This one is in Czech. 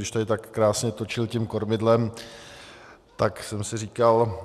Když tady tak krásně točil tím kormidlem, tak jsem si říkal,